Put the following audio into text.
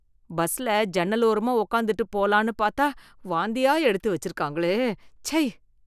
பஸ்ல ஜன்னல் ஓரமா உட்காந்துட்டு போலான்னு பாத்தா வாந்தியா எடுத்து வெச்சிருக்காங்களே, ச்சை.